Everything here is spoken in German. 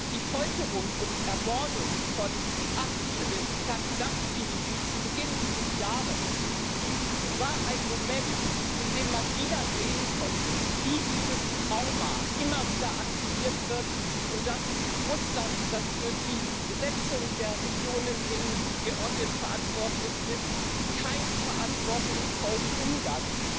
Die Folterung und Ermordung von Archil Tatunaschwili zu Beginn dieses Jahres war ein Moment, in dem man wieder sehen konnte, wie dieses Trauma immer wieder aktiviert wird, und dass Russland, das für die Besetzung der Regionen in Georgien verantwortlich ist, bisher keinen verantwortungsvollen Umgang